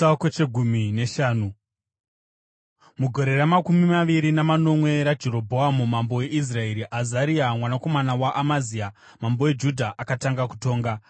Mugore ramakumi maviri namanomwe raJerobhoamu mambo weIsraeri, Azaria mwanakomana waAmazia mambo weJudha akatanga kutonga.